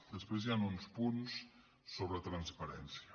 després hi han uns punts sobre transparència